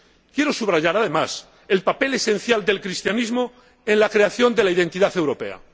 Quiero subrayar, además, el papel esencial del cristianismo en la creación de la identidad europea.